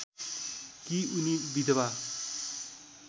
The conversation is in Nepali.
कि उनी विधवा